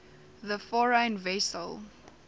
the foreign vessel